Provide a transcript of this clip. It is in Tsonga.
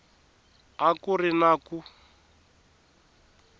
a ku ri na ku